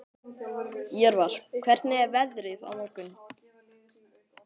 Jörvar, hvernig er veðrið á morgun?